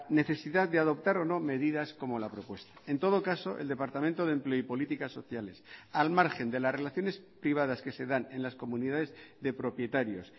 necesidad de adoptar o no medidas como la propuesta en todo caso el departamento de empleo y políticas sociales al margen de las relaciones privadas que se dan en las comunidades de propietarios